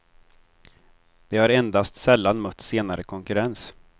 De har endast sällan mött senare konkurrens.